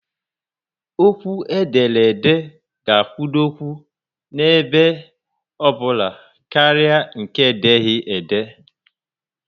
Okwu ederede ga akwudokwu n'ebe obula karịa nke edeghi ede